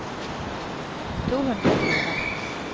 to hundre og fire